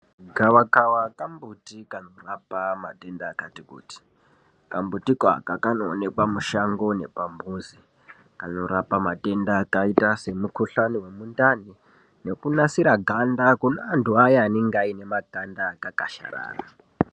Gavakava kambuti kanorapa madenda akati kuti. Kambuti aka kanoonekwa mushango nepamuzi. Kanorapa matenda akaita semukhuhlane wemundani nekunasire ganda kune antu aya anenge ane makanda akakwasharara.